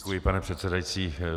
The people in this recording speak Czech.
Děkuji, pane předsedající.